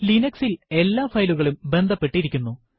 Linux ൽ എല്ലാ ഫയലുകളും ബന്ധപ്പെട്ടിരിക്കുന്നു